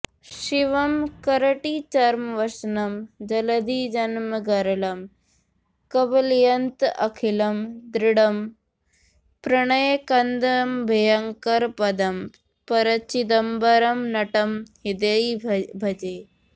शिवं करटिचर्मवसनं जलधिजन्मगरलं कबलयन्तमखिलं दृढं प्रणयकन्दमभयङ्करपदं परचिदम्बरनटं हृदि भजे